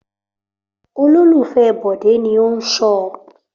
Olólùfẹ́ Bọ̀dé ni ó ń ṣọ.